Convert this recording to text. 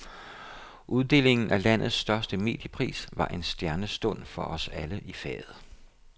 Uddelingen af landets største mediepris var en stjernestund for os alle i faget.